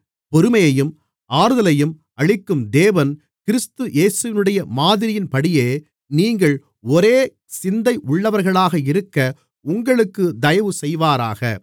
பொறுமையையும் ஆறுதலையும் அளிக்கும் தேவன் கிறிஸ்து இயேசுவினுடைய மாதிரியின்படியே நீங்கள் ஒரே சிந்தை உள்ளவர்களாக இருக்க உங்களுக்கு தயவு செய்வாராக